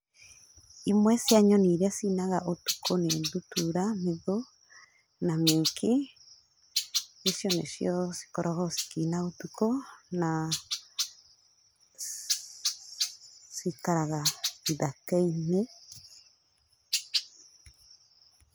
Imwe cia nyoni iria cinaga ũtukũ nĩ ndutura, mithũ na mĩki. Icio nĩcio cikoragwo cikĩina ũtukũ, na cikaraga ithaka-inĩ.